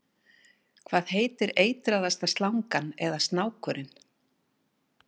Hvað heitir eitraðasta slangan eða snákurinn?